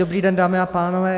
Dobrý den dámy a pánové.